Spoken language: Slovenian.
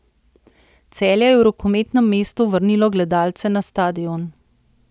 Celje je v rokometnem mestu vrnilo gledalce na stadion.